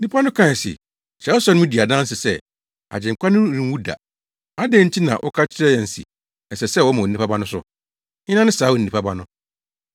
Nnipa no kae se, “Kyerɛwsɛm no di adanse sɛ, Agyenkwa no renwu da. Adɛn nti na woka kyerɛ yɛn se, ‘Ɛsɛ sɛ wɔma Onipa Ba no so’. Hena ne saa Onipa Ba no?”